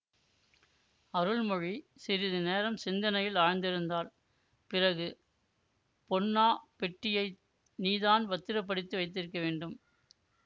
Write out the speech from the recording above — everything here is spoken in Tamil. அருள்மொழி சிறிதுநேரம் சிந்தனையில் ஆழ்ந்திருந்தாள் பிறகு பொன்னா பெட்டியை நீதான் பத்திரப்படுத்தி வைத்திருக்க வேண்டும்